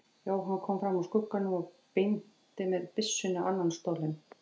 Jóhann kom fram úr skugganum og benti með byssunni á annan stólinn.